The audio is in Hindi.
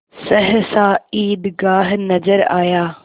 सहसा ईदगाह नजर आया